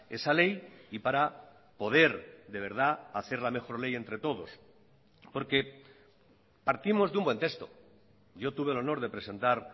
esa ley y para poder de verdad hacer la mejor ley entre todos porque partimos de un buen texto yo tuve el honor de presentar